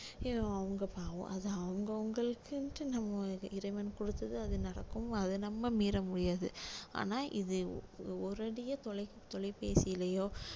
அவங்க பாவம் அது அவங்கவங்களுக்குன்ட்டு நம்ம இறைவன் கொடுத்தது அது நடக்கும் அத நம்ம மீற முடியாது ஆனா இது ஒரு அடியா தொலை~ தொலைபேசியிலயோ